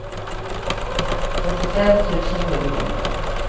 fyrtiofem tusen sjuhundra